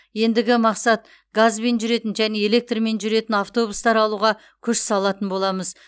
ендігі мақсат газбен жүретін және электрмен жүретін автобустар алуға күш салатын боламыз